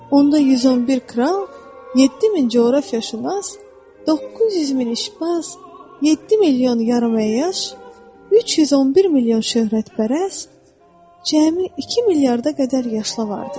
Onda 111 kral, 7000 coğrafiyaşünas, 900 min işbaz, 7 milyon yarıməyyaş, 311 milyon şöhrətpərəst, cəmi 2 milyarda qədər yaşlı vardır.